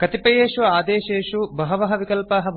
कतिपयेषु आदेशेषु बहवः विकल्पाः भवन्ति